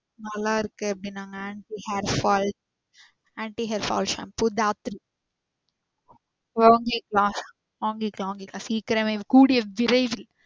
நல்லாருக்கு அப்படின்னாங்க. இந்த hair fall, anti hairfall shampoo வாங்கிக்கற வாங்கிக்கற கூடிய விரைவில்